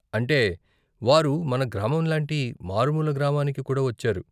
అంటే, వారు మన గ్రామం లాంటి మారుమూల గ్రామానికి కూడా వచ్చారు.